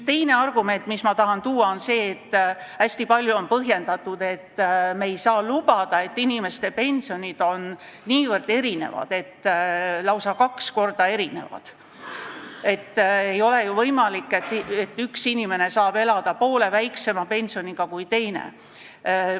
Teine argument, mis ma tahan tuua, on see, et hästi palju on põhjendatud seda sellega, et me ei saa lubada seda, kui inimeste pensionid on niivõrd erinevad, lausa kaks korda erinevad, et ei ole ju võimalik, et üks inimene saab elada poole väiksema pensioniga kui teine.